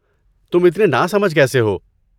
تم اتنے ناسمجھ کیسے ہو؟